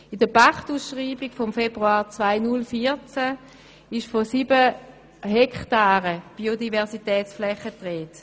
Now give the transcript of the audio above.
In der Pachtausschreibung vom Februar 2014 ist von sieben Hektaren Biodiversitätsflächen die Rede.